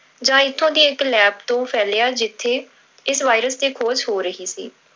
ਜਾਂ ਇੱਥੋਂ ਦੀ ਇੱਕ lab ਤੋਂ ਫੈਲਿਆ ਜਿੱਥੇ ਇਸ virus ਤੇ ਖੋਜ ਹੋ ਰਹੀ ਸੀ।